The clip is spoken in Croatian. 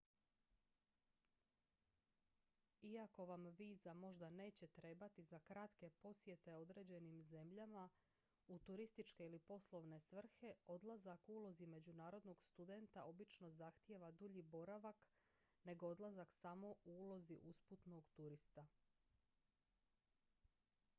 iako vam viza možda neće trebati za kratke posjete određenim zemljama u turističke ili poslovne svrhe odlazak u ulozi međunarodnog studenta obično zahtijeva dulji boravak nego odlazak samo u ulozi usputnog turista